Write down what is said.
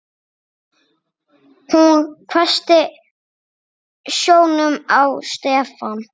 Hún hvessti sjónum á Stefán.